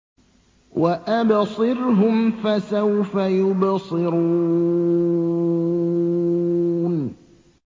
وَأَبْصِرْهُمْ فَسَوْفَ يُبْصِرُونَ